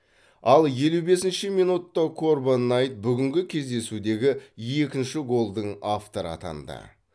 ал елу бесінші минутта корбан найт бүгінгі кездесудегі екінші голдың авторы атанды